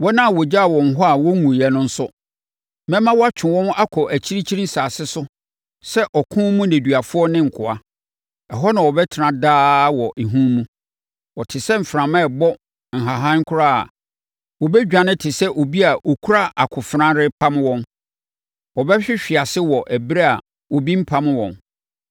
“ ‘Wɔn a wɔgyaa wɔn hɔ a wɔnwuiɛ no nso, mɛma wɔatwe wɔn akɔ akyirikyiri nsase so sɛ ɔko mu nneduafoɔ ne nkoa. Ɛhɔ na wɔbɛtena daa wɔ ehu mu. Wɔte sɛ mframa rebɔ ahahan koraa a, wɔbɛdwane te sɛ deɛ obi a ɔkura akofena repam wɔn; wɔbɛhwehwe ase wɔ ɛberɛ a obi mpam wɔn.